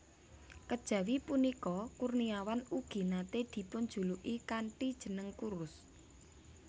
Kejawi punika Kurniawan ugi naté dipunjuluki kanthi jeneng Kurus